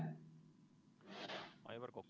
Aivar Kokk.